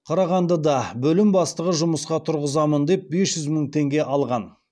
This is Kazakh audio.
қарағандыда бөлім бастығы жұмысқа тұрғызамын деп бес жүз мың теңге алған